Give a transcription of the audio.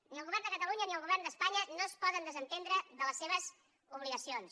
ni el govern de catalunya ni el govern d’espanya no es poden desentendre de les seves obligacions